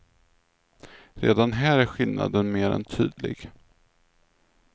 Redan här är skillnaden mer än tydlig.